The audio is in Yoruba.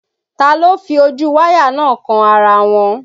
Ta ló fi ojú wáyà náà kan ara wọn?